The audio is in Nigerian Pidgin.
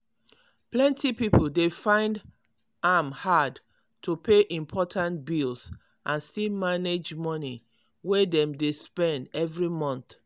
plenty people dey find am hard to pay important bills and still manage money way dem dey spend every month.